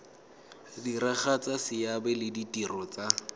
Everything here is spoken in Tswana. diragatsa seabe le ditiro tsa